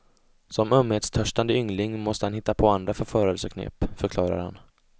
Som ömhetstörstande yngling måste han hitta på andra förförelseknep, förklarar han.